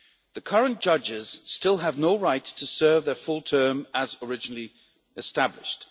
The current judges still have no right to serve their full term as originally established.